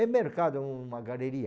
É mercado, uma galeria.